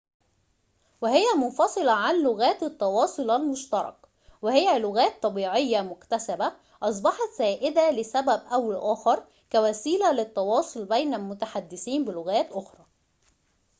وهي منفصلة عن لغات التواصل المشترك وهي لغات طبيعية مكتسبة أصبحت سائدة لسبب أو لآخر كوسيلة للتواصل بين المتحدثين بلغات أخرى